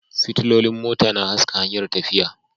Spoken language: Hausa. Fitilolin mota na haska hanyar tafiya